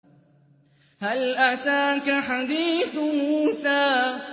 هَلْ أَتَاكَ حَدِيثُ مُوسَىٰ